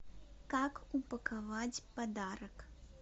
как упаковать подарок